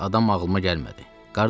Elə bir adam ağlıma gəlmədi.